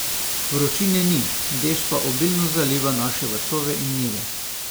Vročine ni, dež pa obilno zaliva naše vrtove in njive.